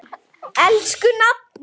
Elsku nafni.